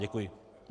Děkuji.